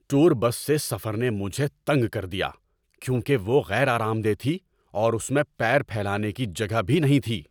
Tour bus سے سفر نے مجھے تنک کر دیا کیونکہ وہ غیر آرام دہ تھی اور اس میں پیر پھیلانے کی جگہ بھی نہیں تھی۔